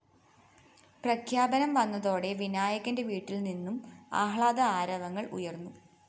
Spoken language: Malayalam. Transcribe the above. പ്രഖ്യാപനം വന്നതോടെ വിനായകന്റെ വീട്ടില്‍ നിന്നും ആഹ്ലാദ ആരവങ്ങള്‍ ഉയര്‍ന്നു